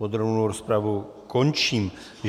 Podrobnou rozpravu končím.